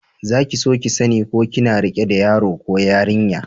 Za ki so sani ko kina rike da yaro ko yarinya?